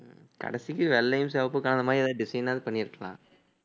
உம் கடைசிக்கு வெள்ளையும் சிவப்புக்கும் கலந்த மாதிரி ஏதாவது design ஆவது பண்ணியிருக்கலாம்